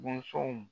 Bɔnsɔnw